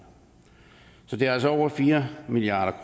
så det er altså over fire milliard